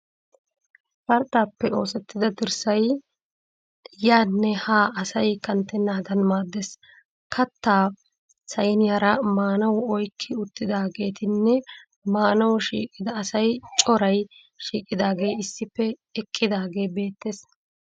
Qarxxaappe oosettida dirssay yaanne haa asay kanttennaadan maaddes. kattaa sayiniyara maanawu oyikki uttidaageetinne maanawu shiiqida asay coray shiiqidaagee issippe eqqidaagee beettes.